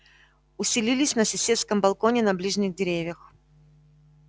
усилились на соседском балконе на ближних деревьях